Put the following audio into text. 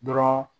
Dɔrɔn